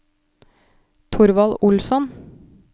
Thorvald Olsson